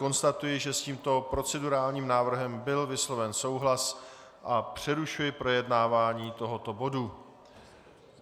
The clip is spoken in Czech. Konstatuji, že s tímto procedurálním návrhem byl vysloven souhlas, a přerušuji projednávání tohoto bodu.